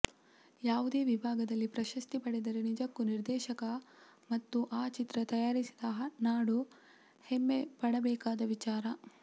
ಯಾವುದೇ ವಿಭಾಗದಲ್ಲಿ ಪ್ರಶಸ್ತಿ ಪಡೆದರೆ ನಿಜಕ್ಕೂ ನಿರ್ದೇಶಕ ಮತ್ತೂ ಆ ಚಿತ್ರ ತಯಾರಿಸಿದ ನಾಡು ಹೆಮ್ಮೆ ಪಡಬೇಕಾದ ವಿಚಾರ